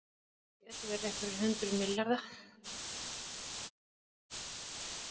Þetta gætu verið einhverjir hundruð milljarða